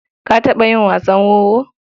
Ka taɓa yi wasan wowo?